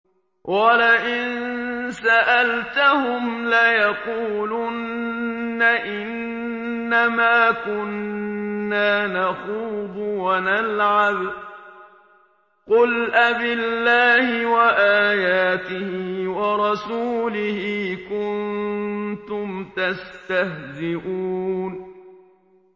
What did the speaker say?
وَلَئِن سَأَلْتَهُمْ لَيَقُولُنَّ إِنَّمَا كُنَّا نَخُوضُ وَنَلْعَبُ ۚ قُلْ أَبِاللَّهِ وَآيَاتِهِ وَرَسُولِهِ كُنتُمْ تَسْتَهْزِئُونَ